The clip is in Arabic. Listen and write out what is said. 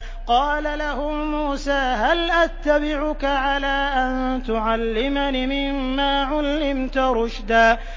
قَالَ لَهُ مُوسَىٰ هَلْ أَتَّبِعُكَ عَلَىٰ أَن تُعَلِّمَنِ مِمَّا عُلِّمْتَ رُشْدًا